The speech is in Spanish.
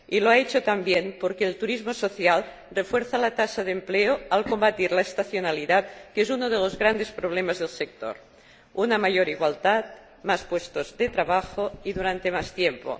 Y lo ha hecho también porque el turismo social refuerza la tasa de empleo al combatir la estacionalidad —uno de los grandes problemas del sector— y crea una mayor igualdad, más puestos de trabajo y durante más tiempo.